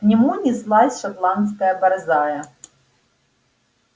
к нему неслась шотландская борзая